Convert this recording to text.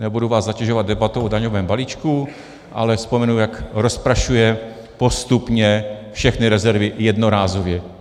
Nebudu vás zatěžovat debatou o daňovém balíčku, ale vzpomenu, jak rozprašuje postupně všechny rezervy jednorázově.